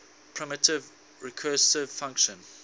primitive recursive function